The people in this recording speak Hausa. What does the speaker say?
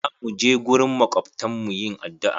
Za mu je gurin makwabtan mu yin addu'a.